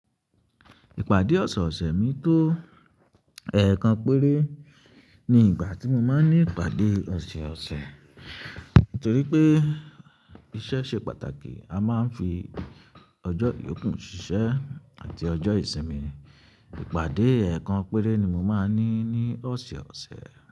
Ìpàdé ọ̀sọ̀ọ̀sẹ̀ mi tó ẹ̀ẹ̀kan péré ni ìgbà tí mo máa ń ní ìpàdé ọ̀sẹ̀ọ̀sẹ̀, torí pé iṣẹ́ ṣe pàtàkì. A máa ń fi ọjọ́ yokú ṣíṣẹ́ àti ọjọ́ ìsinmi. Ìpàdé ẹ̀ẹ̀kan péré ni mo máa ń ní ní ọ̀sẹ̀ọ̀sẹ̀.